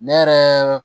Ne yɛrɛ